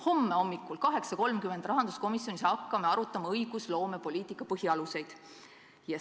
Homme hommikul 8.30 me hakkame rahanduskomisjonis arutama õigusloomepoliitika põhialuseid.